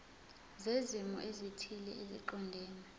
zezimo ezithile eziqondene